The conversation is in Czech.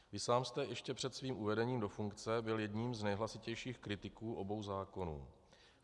Vy sám jste ještě před svým uvedením do funkce byl jedním z nejhlasitějších kritiků obou zákonů.